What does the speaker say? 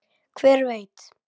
Hver veit!